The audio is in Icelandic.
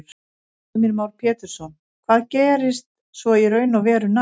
Heimir Már Pétursson: Hvað gerist svo í raun og veru næst?